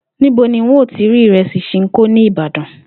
Níbo ni n óò ti rí ìre̩sì S̩inkó ní Ìbàdàn?